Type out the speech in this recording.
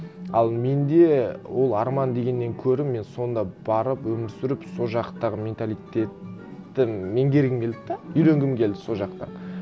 ал менде ол арман дегеннен гөрі мен сонда барып өмір сүріп сол жақтағы менталитетті меңгергім келді де үйренгім келді сол жақтан